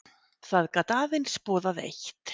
Það gat aðeins boðað eitt.